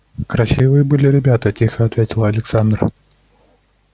красивые были ребята тихо ответила александра